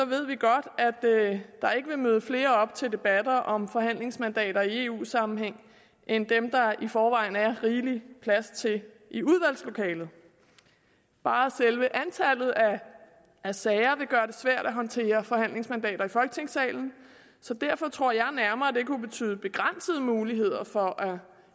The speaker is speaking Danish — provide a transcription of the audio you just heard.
ved vi godt at der ikke vil møde flere op til debatter om forhandlingsmandater i eu sammenhæng end dem der i forvejen er rigelig plads til i udvalgslokalet bare selve antallet af sager vil gøre det svært at håndtere forhandlingsmandater i folketingssalen så derfor tror jeg nærmere at det kunne betyde begrænsede muligheder for